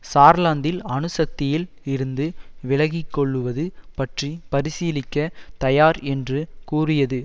சார்லாந்தில் அணு சக்தியில் இருந்து விலகி கொள்ளுவது பற்றி பரிசீலிக்கத் தயார் என்று கூறியது